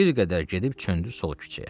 Bir qədər gedib çöndü sol küçəyə.